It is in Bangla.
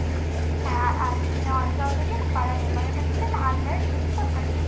হ্যা, আর চিংড়িয়া অঞ্চল থেকে কি পাড়ার member এর কাছ থেকে একটা unmarried লিখিত certificate